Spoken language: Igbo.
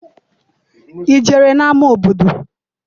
I jere n'ama obodo?